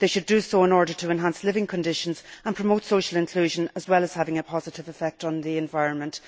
They should do so in order to enhance living conditions and promote social inclusion, as well as to bring about positive effects on the environment.